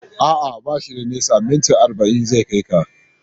A'a, ba shi da nisa, minti arba'in zai kai ka.